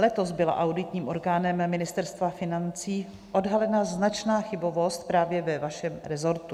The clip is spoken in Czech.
Letos byla auditním orgánem Ministerstva financí odhalena značná chybovost právě ve vašem resortu.